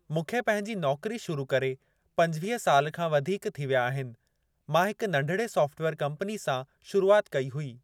मूंखे पंहिंजी नौकरी शुरु करे पंजवीह साल खां वधीक थी विया आहिनि। मां हिकु नंढिड़े सॉफ़्टवेयर कंपनी सां शुरुआति कई हुई।